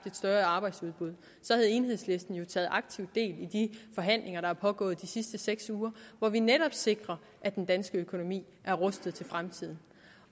et større arbejdsudbud så havde enhedslisten jo taget aktivt del i de forhandlinger der er pågået de sidste seks uger hvor vi netop sikrer at den danske økonomi er rustet til fremtiden